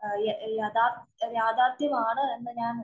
യഥാര്‍ത്ഥമാണ് യാഥാര്‍ത്ഥ്യമാണ് എന്ന് ഞാന്‍